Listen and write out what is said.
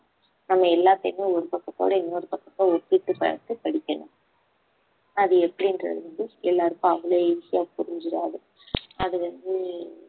நம்ம எல்லாத்தையுமே ஒரு பக்கத்தோட இன்னொரு பக்கத்த ஒப்பிட்டு பார்த்து படிக்கணும் அது எப்படின்றது வந்து எல்லாருக்கும் அவ்வளவு easy ஆ புரிஞ்சுராது அது வந்து